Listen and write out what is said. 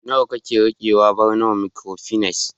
nawa kake rikewa Barnawa microfinance